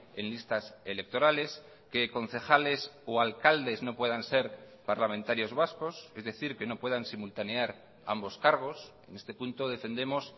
en listas electorales que concejales o alcaldes no puedan ser parlamentarios vascos es decir que no puedan simultanear ambos cargos en este punto defendemos